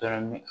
Dɔrɔn